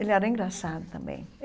Ele era engraçado também.